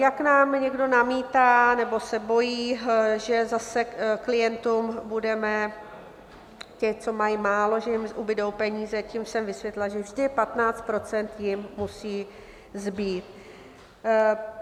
Jak nám někdo namítá nebo se bojí, že zase klientům budeme... těm, co mají málo, že jim ubudou peníze, tím jsem vysvětlila, že vždy 15 % jim musí zbýt.